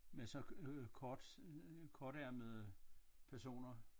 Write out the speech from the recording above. Med så øh kort kortærmede personer